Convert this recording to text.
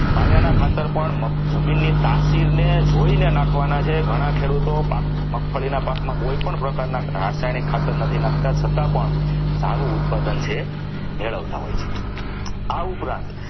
પાયાના ખાતર પણ જમીનની તાસીરને જોઈને નાખવાના છે ઘણા ખેડૂતો મગફળીના પાકમાં કોઈપણ પ્રકારના રાસાયણિક ખાતર નથી નાખતા છતાં પણ સારું ઉત્પાદન છે મેળવતા હોય છે આ ઉપરાંત